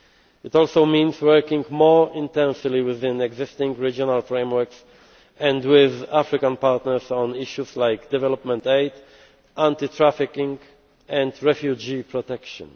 It also means working more intensely within existing regional frameworks and with African partners on issues like development aid, anti trafficking and refugee protection.